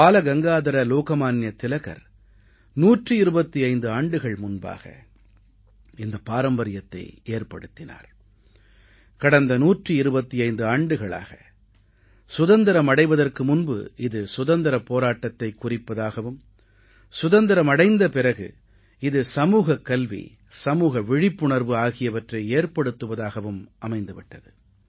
பாலகங்காதர லோகமான்ய திலகர் 125 ஆண்டுகள் முன்பாக இந்தப் பாரம்பரியத்தை ஏற்படுத்தினார் கடந்த 125 ஆண்டுகளாக சுதந்திரம் அடைவதற்கு முன்பு இது சுதந்திரப் போராட்டத்தைக் குறிப்பதாகவும் சுதந்திரம் அடைந்த பிறகு இது சமூகக் கல்வி சமூக விழிப்புணர்வு ஆகியவற்றை ஏற்படுத்துவதாகவும் அமைந்து விட்டது